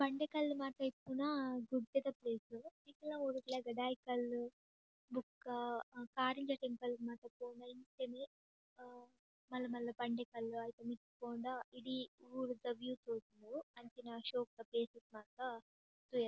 ಬಂಡೆಕಲ್ಲ್ ಮತ ಇಪ್ಪುನ ಗುಡ್ಡೆದ ಪ್ಲೇಸ್ ನಿಕುಲ್ನ ಊರುಗ್ಲಾ ಗಡಾಯಿಕಲ್ಲ್ ಬೊಕ್ಕ ಕಾರಿಂಜ ಟೆಂಪಲ್ ಮಾತ ಪೋಂಡ ಇಂಚೆನೆ ಮಲ್ಲ ಮಲ್ಲ ಬಂಡೆಕಲ್ಲ್ ಐತ ಮಿತ್ತ್ ಪೋಂಡ ಇಡೀ ಊರುದ ವೀವ್ ತೋಜುಂಡು ಅಂಚಿನ ಶೋಕುದ ಪ್ಲೇಸಸ್ ಮಾತ ತೂಯೆರೆ.